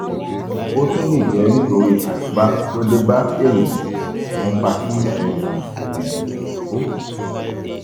ó tún lè jẹ́ nítorí àkóbá to dé bá èrìgì tó ń fa kí um èrìgì bó um